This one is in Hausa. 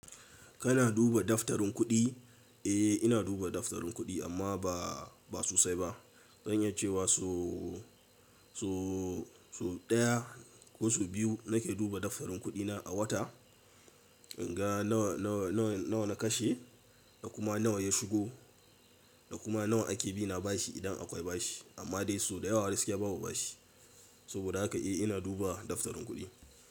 Kana duba daftarin kuɗi? Eh ina duba daftarin kuɗi amma ba, ba sosai ba. Zan iya cewa so, so, so ɗaya ko so biyu nake duba daftarin kuɗi na a wata. In ga nawa, nawa, nawa, nawa na kashe da kuma nawa ya shigo da kuma nawa ake bi na bashi idan akwai bashi. Amma dai so da yawa gaskiya babu bashi. Saboda haka eh ina duba daftarin kuɗi.